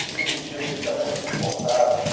que vendia medicamentos importados.